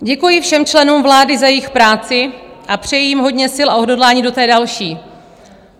Děkuji všem členům vlády za jejich práci a přeji jim hodně sil a odhodlání do té další.